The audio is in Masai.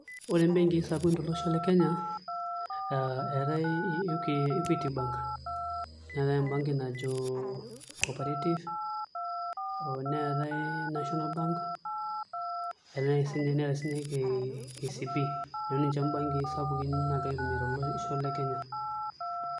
Ore mbenkii sapukin tolosho le Kenya eetai Equity Bank neetai embenki najo Coperative neetai National Bank neetai siinye KCB, neeku ninche mbenkii sapukin naagirai aitumia tolosho le Kenya.